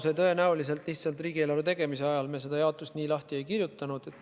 Seda jaotust me riigieelarve tegemise ajal tõenäoliselt nii lahti ei kirjutanud.